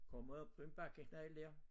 Kommer op på den bakkeknajl dér